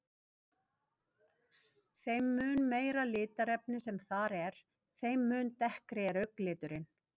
Þeim mun meira litarefni sem þar er, þeim mun dekkri er augnliturinn.